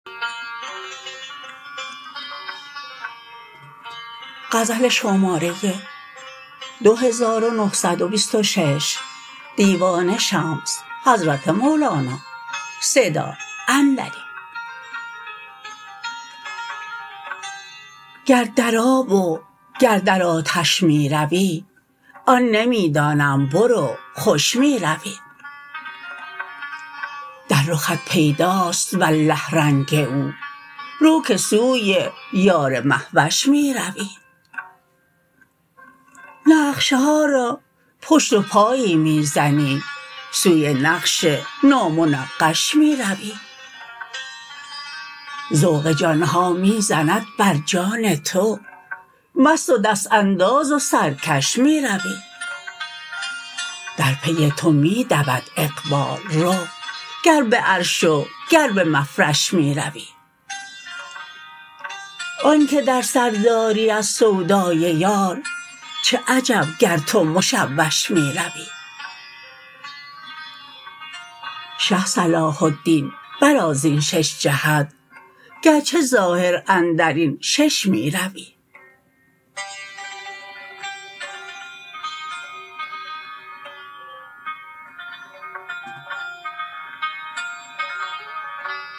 گر در آب و گر در آتش می روی آن نمی دانم برو خوش می روی در رخت پیداست والله رنگ او رو که سوی یار مه وش می روی نقش ها را پشت و پایی می زنی سوی نقش نامنقش می روی ذوق جان ها می زند بر جان تو مست و دست انداز و سرکش می روی در پی تو می دود اقبال رو گر به عرش و گر به مفرش می روی آنک در سر داری از سودای یار چه عجب گر تو مشوش می روی شه صلاح الدین برآ زین شش جهت گرچه ظاهر اندر این شش می روی